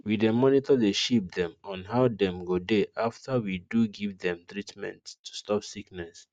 we dey monitor the sheep dem on how dem go dey after we do give dem treatment to stop sickness